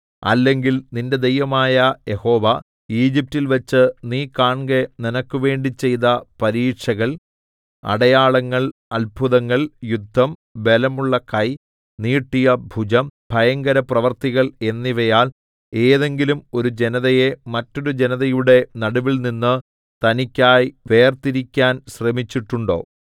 അല്ലെങ്കിൽ നിന്റെ ദൈവമായ യഹോവ ഈജിപ്റ്റിൽവെച്ച് നീ കാൺകെ നിനക്കുവേണ്ടി ചെയ്ത പരീക്ഷകൾ അടയാളങ്ങൾ അത്ഭുതങ്ങൾ യുദ്ധം ബലമുള്ള കൈ നീട്ടിയ ഭുജം ഭയങ്കരപ്രവൃത്തികൾ എന്നിവയാൽ ഏതെങ്കിലും ഒരു ജനതയെ മറ്റൊരു ജനതയുടെ നടുവിൽനിന്ന് തനിക്കായി വേർതിരിക്കാൻ ശ്രമിച്ചിട്ടുണ്ടോ